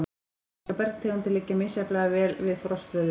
Íslenskar bergtegundir liggja misjafnlega vel við frostveðrun.